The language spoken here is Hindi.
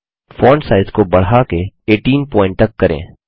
फोंट साइज़ को बढ़ाके 18 पॉइंट तक करें